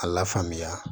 A la faamuya